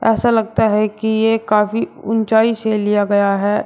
ऐसा लगता है कि ये काफी ऊंचाई से लिया गया है।